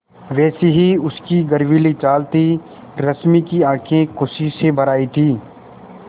वैसी ही उसकी गर्वीली चाल थी रश्मि की आँखें खुशी से भर आई थीं